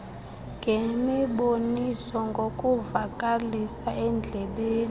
ngemiboniso ngokuvakalisa endlebeni